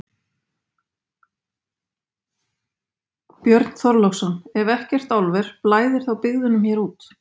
Björn Þorláksson: Ef ekkert álver, blæðir þá byggðunum hér út?